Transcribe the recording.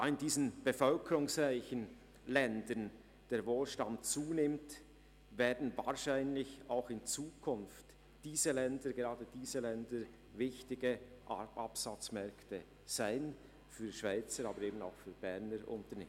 Da in diesen bevölkerungsreichen Ländern der Wohlstand zunimmt, werden wahrscheinlich auch in Zukunft gerade diese Länder zu wichtigen Absatzmärkten für Schweizer und Berner Unternehmen.